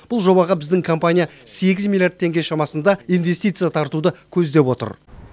бұл жобаға біздің компания сегіз миллиард теңге шамасында инвестиция тартуды көздеп отыр